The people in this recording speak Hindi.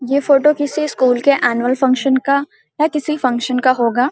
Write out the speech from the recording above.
ये फोटो किसी स्कूल के एनुअल फंक्शन का या किसी फंक्शन का होगा।